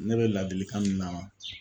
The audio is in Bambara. Ne bɛ laadilikan min na